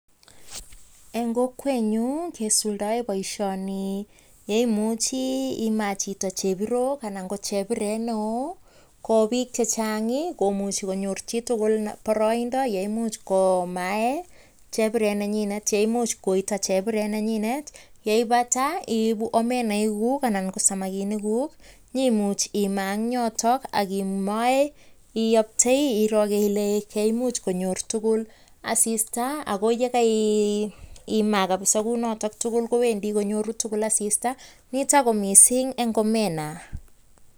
en kokwenyun kesuldoen boishoni imuchi imaa chito chebirook anan ko chebiret neoo koo biik chechang komuchi konyor chitugul boroindo yeimuch komaen chebiret nenyine yeimuch koitoo chebiret nenyinet yeipata iibu omena iguk anan ko samakinik kuk nyoimuch imaa eng yoton ak imoee iyoptoi iro ile kaimuch konyor tugul asista ago yegeimaa kabisa kounoton tugul kowendi konyoru tugul asista nitok ko missing en omena.